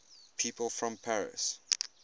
people from paris